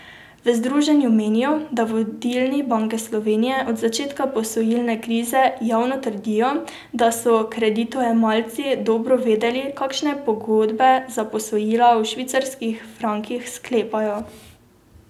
V združenju menijo, da vodilni Banke Slovenije od začetka posojilne krize javno trdijo, da so kreditojemalci dobro vedeli, kakšne pogodbe za posojila v švicarskih frankih sklepajo.